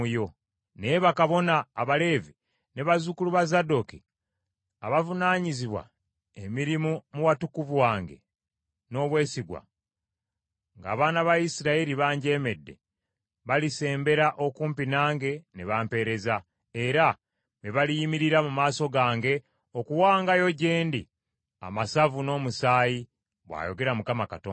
“ ‘Naye bakabona Abaleevi ne bazzukulu ba Zadooki, abavunaanyizibwa emirimu mu watukuvu wange n’obwesigwa, ng’abaana ba Isirayiri banjeemedde, balisembera okumpi nange ne bampeereza, era be baliyimirira mu maaso gange okuwangayo gye ndi amasavu n’omusaayi, bw’ayogera Mukama Katonda.